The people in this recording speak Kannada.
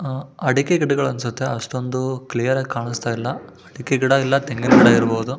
ಅಹ್ ಅಡಿಕೆ ಗಿಡಗಳು ಅನ್ಸುತ್ತೆ ಅಷ್ಟೊಂದು ಕ್ಲಿಯರ್ ಆಗಿ ಅನಿಸ್ತಿಲ್ಲ ಅಡಿಕೆ ಗಿಡ ಇಲ್ಲ ತೆಂಗಿನ ಗಿಡ ಇರಬಹುದು.